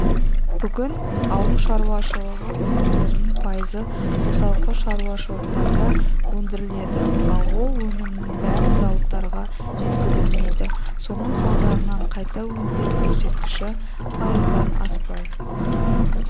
бүгінде ауыл шаруашылығы өнімдерінің пайызы қосалқы шаруашылықтарда өндіріледі ал ол өнімнің бәрі зауыттарға жеткізілмейді соның салдарынан қайта өңдеу көрсеткіші пайыздан аспай